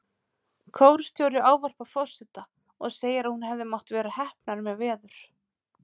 Kórstjóri ávarpar forseta og segir að hún hefði mátt vera heppnari með veður.